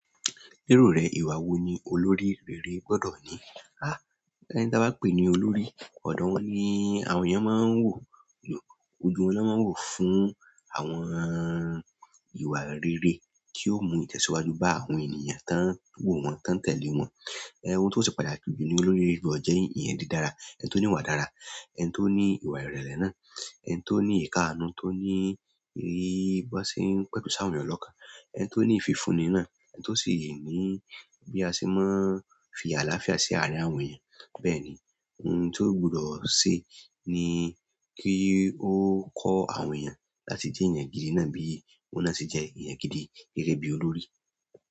Lérò rẹ ìwà wo ni olórí rere gbọ́dọ̀ ní? Há! Ẹni tí a bá pè ní olórí, ọ̀dọ̀ wọn ni àwọn èèyàn máa ń wò, ojú u wọn lọ́ ma ń wò fún àwọn ìwà rere tí yóò mú ìtẹ̀síwájú bá àwọn ènìyàn tán ń wò wọ́n, tán ń tẹ̀lé wọn. Ẹ̀h, ohun tó se pàtàkì jù ni olórí gbọdọ̀ jẹ́ èèyàn dídára, ẹni tó ní ìwà dára, ẹni tó ní ìwà ìrẹ̀lẹ̀ náà, ẹni tó ní ìkáàánú, tó ní ìrírí bọ́ ṣe ń pẹ̀tù sáwọn ènìyàn lọ́kàn, ẹni tó ní ìfifúnni náà, ẹni tó sì ní bí a ṣe máa ń fi àlàáfíà sí àárín àwọn èèyàn. Bẹ́ẹ̀ ni, ohun tó gbudọ̀ ṣe ni kí ó kọ́ àwọn èèyàn láti jẹ́ èèyàn gidi náà bí òun náà ṣe jẹ́ èèyàn gidi gẹ́gẹ́bí olórí.